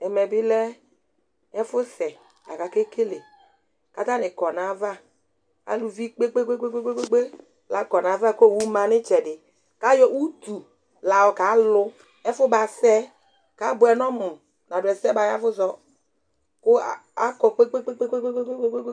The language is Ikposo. ẽmɛbilɛ ɛfusé ɑkɑkélɛ kɑtɑɲi kọɲɑvạ ãlʊvikpɛkpɛkpɛ lɑkɔɲɑvä kọwʊmɑ ɲitzɛɗi kɑyọ ʊtulɑyọkɑlʊ ɛfʊmɑsé kăbʊɛɲɔmu ɲɑɗʊɛsé mɑyévuzɔ ku ɑkɔkpɛkpɛkpɛkpɛ